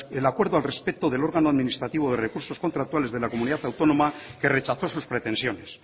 el acuerdo al respecto del órgano administrativo de recursos contractuales de la comunidad autónoma que rechazó sus pretensiones